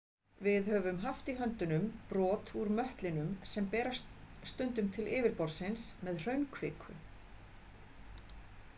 Við höfum haft í höndunum brot úr möttlinum sem berast stundum til yfirborðsins með hraunkviku.